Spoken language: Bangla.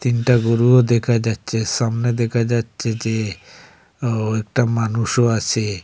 তিনটা গরুও দেখা যাচ্ছে সামনে দেখা যাচ্ছে যে ও একটা মানুষও আসে।